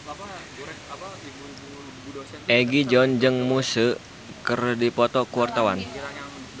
Egi John jeung Muse keur dipoto ku wartawan